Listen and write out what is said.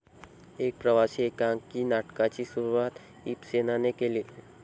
एक प्रवासी एकांकी नाटकाची सुरुवात ईबसेना ने केली